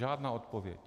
Žádná odpověď.